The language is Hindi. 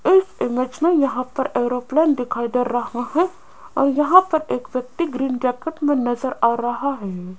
इस इमेज यहां पर एरोप्लेन दिखाई दे रहा है और यहां पर एक व्यक्ति ग्रीन जैकेट में नजर आ रहा है।